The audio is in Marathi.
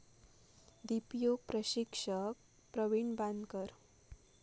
दीपयोग प्रशिक्षक प्रवीण बांदकर